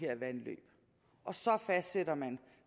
vandløb og så fastsætter man